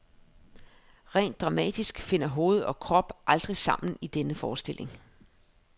Rent dramatisk finder hoved og krop aldrig sammen i denne forestilling.